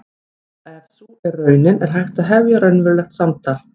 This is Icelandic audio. Ef sú er raunin er hægt að hefja raunverulegt samtal.